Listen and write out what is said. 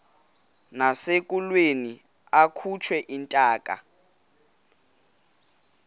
nasekulweni akhutshwe intaka